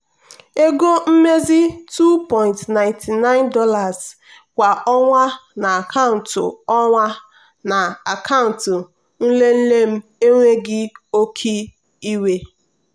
ego mmezi $2.99 kwa ọnwa na akaụntụ ọnwa na akaụntụ nlele m enweghị oke iwe.